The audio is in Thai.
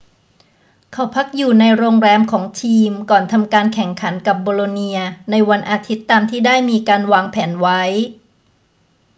เขาพักอยู่ในโรงแรมของทีมก่อนทำการแข่งขันกับโบโลเนียในวันอาทิตย์ตามที่ได้มีการวางแผนไว้